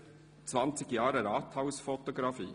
Zwanzig Jahre Rathausfotografie».